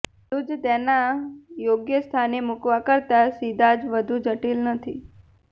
બધું જ તેના યોગ્ય સ્થાને મૂકવા કરતાં સીધા જ વધુ જટિલ નથી